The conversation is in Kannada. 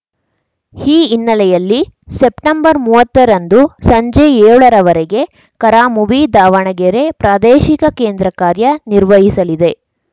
ಈ ಹಿನ್ನಲೆ ಯಲ್ಲಿ ಸೆಪ್ಟೆಂಬರ್ಮೂವತ್ತರಂದು ಸಂಜೆ ಏಳರವರೆಗೆ ಕರಾಮುವಿ ದಾವಣಗೆರೆ ಪ್ರಾದೇಶಿಕ ಕೇಂದ್ರ ಕಾರ್ಯ ನಿರ್ವಹಿಸಲಿದೆ